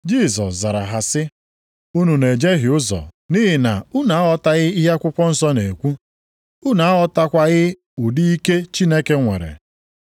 Jisọs zara ha sị, “Unu na-ejehie ụzọ nʼihi na unu aghọtaghị ihe akwụkwọ nsọ na-ekwu. Unu aghọtakwaghị ụdị ike Chineke nwere.